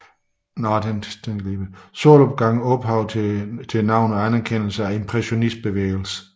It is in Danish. Solopgang ophav til navnet og anerkendelsen af impressionistbevægelsen